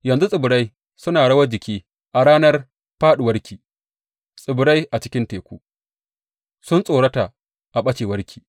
Yanzu tsibirai suna rawar jiki a ranar fāɗuwarki; tsibirai a cikin teku sun tsorata a ɓacewarki.’